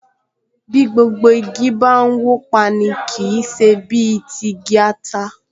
Bí gbogbo igi bá n wó pa’ni, kì í ṣe bí ti igi ata